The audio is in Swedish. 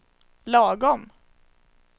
lagom